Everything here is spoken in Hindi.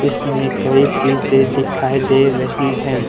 इसमें कई चीजे दिखाई दे रही है।